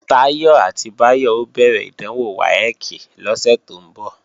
Táyọ̀ àti Báyọ̀ ó bẹ̀rẹ̀ ìdánwò WAEC lọ́sẹ̀ tó ń bọ̀